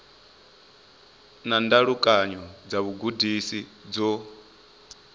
na ndalukanyo dza vhugudisi dzo